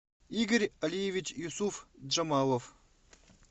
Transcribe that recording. игорь алиевич юсуфджамалов